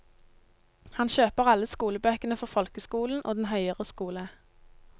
Han kjøper alle skolebøkene for folkeskolen og den høyere skole.